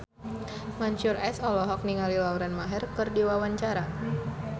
Mansyur S olohok ningali Lauren Maher keur diwawancara